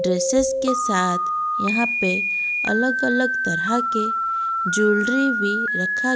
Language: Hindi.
ड्रेसेस के साथ यहां पे अलग-अलग तरह के ज्वेलरी भी रखा --